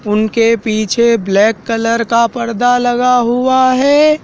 उनके पीछे black colour का पर्दा लगा हुआ है।